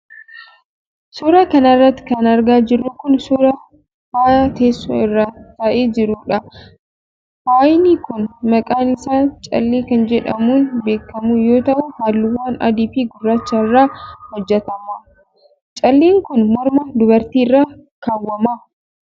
Suura kana irratti kan argaa jirru kun ,suura faayaa teessoo irra taa'ee jiruudha. Faayni kun maqaan isaa callee kan jedhamuun beekamu yoo ta'u, haalluuwwan adii fi gurraacha irraa hojjatamae. Calleen kun morma dubartii irra kaawwama.